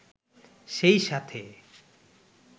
সেই সাথে